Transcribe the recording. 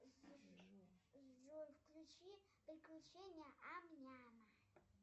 джой включи приключения ам няма